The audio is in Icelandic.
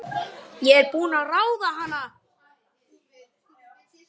Ég er búin að ráða hana!